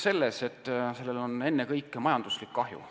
See seisnebki ennekõike majanduslikus kahjus.